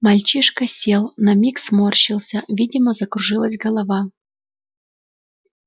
мальчишка сел на миг сморщился видимо закружилась голова